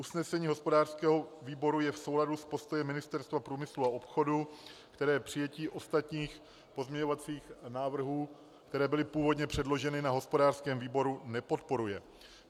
Usnesení hospodářského výboru je v souladu s postojem Ministerstva průmyslu a obchodu, které přijetí ostatních pozměňovacích návrhů, které byly původně předloženy na hospodářském výboru, nepodporuje.